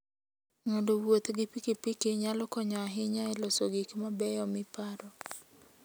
Ng'ado wuoth gi pikipiki nyalo konyo ahinya e loso gik mabeyo miparo.